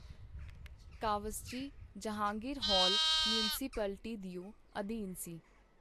Cowasji Jehangir hall municipality ਦਿਓ ਅਧੀਨ ਸੀ.